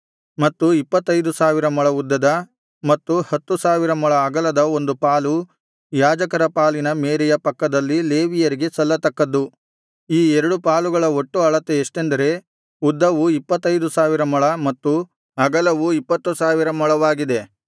ಮತ್ತು ಇಪ್ಪತ್ತೈದು ಸಾವಿರ ಮೊಳ ಉದ್ದದ ಮತ್ತು ಹತ್ತು ಸಾವಿರ ಮೊಳ ಅಗಲದ ಒಂದು ಪಾಲು ಯಾಜಕರ ಪಾಲಿನ ಮೇರೆಯ ಪಕ್ಕದಲ್ಲಿ ಲೇವಿಯರಿಗೆ ಸಲ್ಲತಕ್ಕದ್ದು ಈ ಎರಡು ಪಾಲುಗಳ ಒಟ್ಟು ಅಳತೆ ಎಷ್ಟೆಂದರೆ ಉದ್ದವು ಇಪ್ಪತ್ತೈದು ಸಾವಿರ ಮೊಳ ಮತ್ತು ಅಗಲವು ಇಪ್ಪತ್ತು ಸಾವಿರ ಮೊಳವಾಗಿದೆ